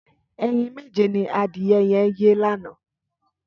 Ẹyín méjé ni adiẹ yẹ̀n yé lànã